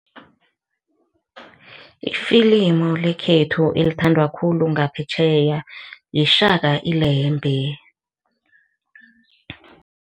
Ifilimu lekhethu elithandwa khulu ngaphetjheya yiShaka Ilembe.